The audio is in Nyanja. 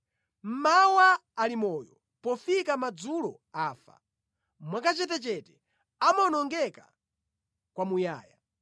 Mmawa ali moyo, pofika madzulo afa; mwakachetechete, amawonongeka kwamuyaya.